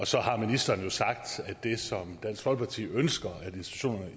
så har ministeren jo sagt at det som dansk folkeparti ønsker institutionerne